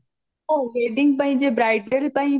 ହଉ wedding ପାଇଁ ଯେ bridal ପାଇଁ ଯେ